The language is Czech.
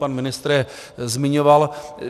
Pan ministr je zmiňoval.